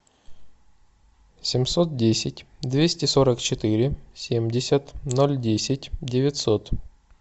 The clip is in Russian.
семьсот десять двести сорок четыре семьдесят ноль десять девятьсот